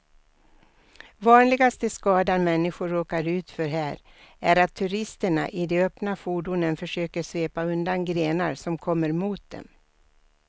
Vanligaste skadan människor råkar ut för här är att turisterna i de öppna fordonen försöker svepa undan grenar som kommer mot dem.